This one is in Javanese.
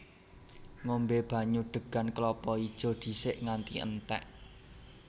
Ngombé banyu degan klapa ijo dhisik nganti entèk